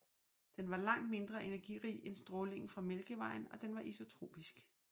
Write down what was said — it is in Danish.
Den var langt mindre energirig end strålingen fra mælkevejen og den var isotropisk